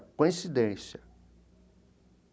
Coincidência.